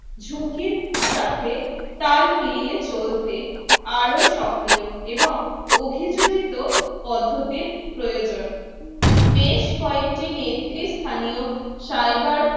ঝুঁকির সাথে তাল মিলিয়ে চলছে আরও সক্রিয় এবং অভিযোজিত পদ্ধতির প্রয়োজন বেশ কয়েকটি নেত্রী স্থানীয় cyber